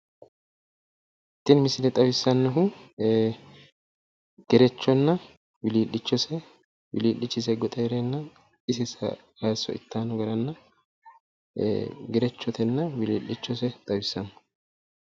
Tini misile xawissannohu gerechonna wilii'lichose wilii'chise goxe heereenna ise kaynni hayisso ittannota xawissanno.